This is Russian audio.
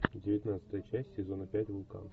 девятнадцатая часть сезона пять вулкан